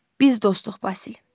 Biz dostuq, Basil.